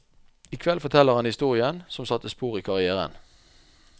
I kveld forteller han historien som satte spor i karrièren.